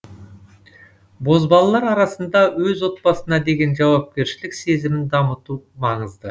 бозбалалар арасында өз отбасына деген жауапкершілік сезімін дамыту маңызды